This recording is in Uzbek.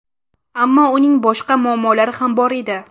Ammo uning boshqa muammolari ham bor edi.